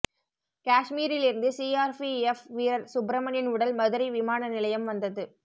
காஷ்மீரிலிருந்து CRPF வீரர் சுப்பிரமணியன் உடல் மதுரை விமான நிலையம் வந்தது